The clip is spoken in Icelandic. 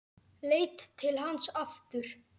Leit til hans aftur.